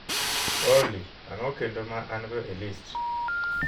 olly ang'o kendo ma an-go e list